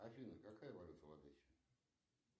афина какая валюта в одессе